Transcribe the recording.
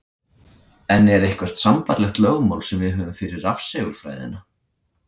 En er eitthvert sambærilegt lögmál sem við höfum fyrir rafsegulfræðina?